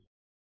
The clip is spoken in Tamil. நன்றி